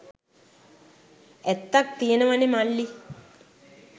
ඇත්තක් තියනවනෙ මල්ලි.